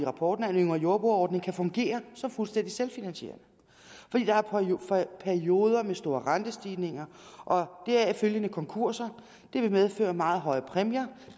rapporten at en yngre jordbruger ordning kan fungere fuldstændig selvfinansierende fordi der er perioder med store rentestigninger og deraf følgende konkurser det vil medføre meget høje præmier